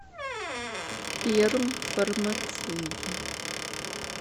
пермфармация